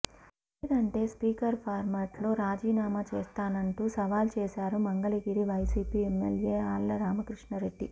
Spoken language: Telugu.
లేదంటే స్పీకర్ ఫార్మట్లో రాజీనామా చేస్తా నంటూ సవాల్ చేశారు మంగళగిరి వైసీపీ ఎమ్మెల్యే ఆళ్ల రామకృష్ణరెడ్డి